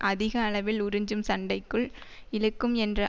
அதிக அளவில் உறிஞ்சும் சண்டைக்குள் இழுக்கும் என்ற